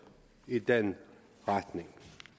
i den retning